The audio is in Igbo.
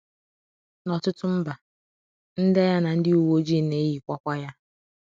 N’ọtụtụ mba, ndị agha na ndị uwe ojii na-ejikwakwa ya.